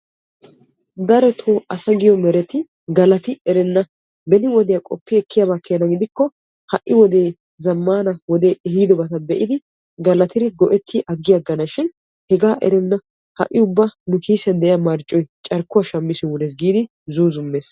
Darotto asaa giyo meretti galatti beni wodiya qoppiddi galatana kosheeshin nu kiissiyan marccoy carkkuwa shammishin wurees giidi zuuzzumees.